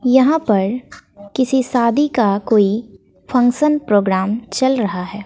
यहां पर किसी शादी का कोई फंक्शन प्रोग्राम चल रहा है।